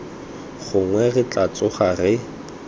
gongwe re tla tsoga re